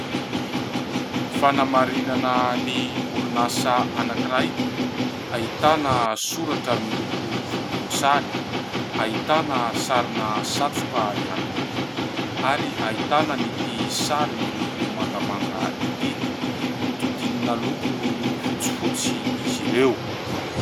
Fanamarinana ny orinasa anankiray ahitana soratra miloko volomboasary, ahitana sarina satroka ihany koa ary ahitana an'ity sary miloko mangamanga ity hodidinina loko fotsifotsy izy ireo.